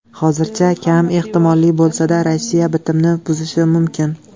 Hozircha kam ehtimolli bo‘lsa-da, Rossiya bitimni buzishi mumkin.